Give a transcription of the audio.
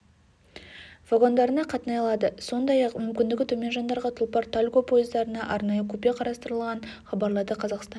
вагондарында қатынай алады сондай-ақ мүмкіндігі төмен жандарға тұлпар тальго пойыздарында арнайы купе қарастырылған хабарлады қазақстан